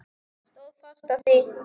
Stóð fast á því.